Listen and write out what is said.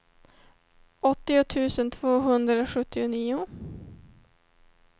åttio tusen tvåhundrasjuttionio